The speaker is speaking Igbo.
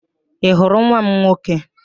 Ị hụrụ nwa m nwoke?